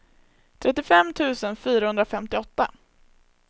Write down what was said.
trettiofem tusen fyrahundrafemtioåtta